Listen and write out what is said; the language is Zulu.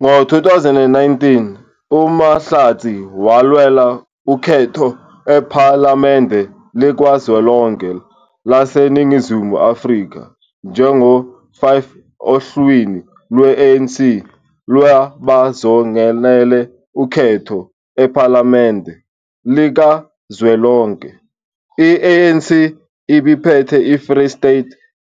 Ngo- 2019, uMahlatsi walwela ukhetho ePhalamende Likazwelonke laseNingizimu Afrika njengo-5 ohlwini lwe-ANC lwabazongenela ukhetho ePhalamende Likazwelonke. I-ANC ibiphethe eFree State,